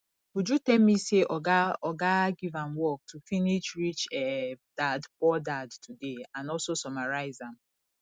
uju tell me say oga oga give am work to finish rich um dadpoor dad today and also summarize am